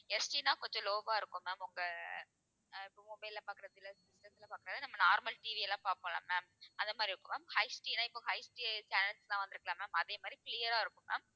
SD ன்னா கொஞ்சம் low ஆ இருக்கும் ma'am உங்க அஹ் இப்ப mobile ல பார்க்கிற சில நம்ம normalTV எல்லாம் பார்ப்போம் இல்ல ma'am அந்த மாதிரி இருக்கும் ma'amHD ன்னா இப்போ HDchannels எல்லாம் வந்து இருக்குல்ல ma'am அதே மாதிரி clear ஆ இருக்கும் ma'am